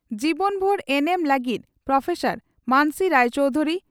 ᱡᱤᱵᱚᱱ ᱵᱷᱩᱨ ᱮᱱᱮᱢ ᱞᱟᱹᱜᱤᱫ ᱯᱨᱹ ᱢᱟᱱᱚᱥᱤ ᱨᱟᱭ ᱪᱚᱣᱫᱷᱩᱨᱤ